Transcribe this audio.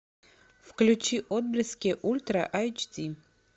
включи отблески ультра айч ди